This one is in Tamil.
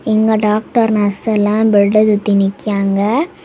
இங்க டாக்டர் நர்ஸ் எல்லாம் பெட்ட சுத்தி நிக்யாங்க.